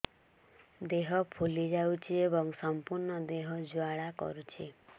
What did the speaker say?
ଦେହ ଫୁଲି ଯାଉଛି ଏବଂ ସମ୍ପୂର୍ଣ୍ଣ ଦେହ ଜ୍ୱାଳା କରୁଛି